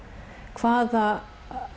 hvaða